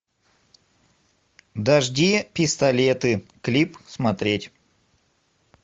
дожди пистолеты клип смотреть